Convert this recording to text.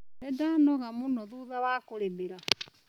Nĩndanoga mũno thutha wa kũrĩmĩra.